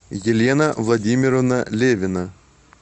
елена владимировна левина